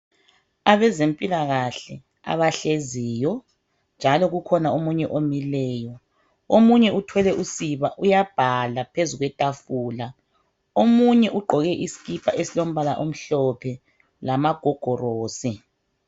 Abezempilakahle abahleziyo njalo kukhona omunye omileyo. Omunye uthwele usiba uyabhala phezulu kwetafula, omunye ugqoke isikipa esilombala amhlophe lama gogorosi.